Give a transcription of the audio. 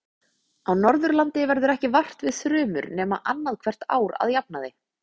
Á Norðurlandi verður ekki vart við þrumur nema annað hvert ár að jafnaði.